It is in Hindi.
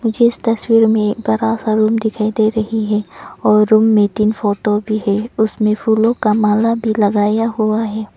मुझे इस तस्वीर में एक बड़ा सा रूम दिखाई दे रही है और रूम में तीन फोटो भी है उसमें फूलों का माला भी लगाया हुआ है।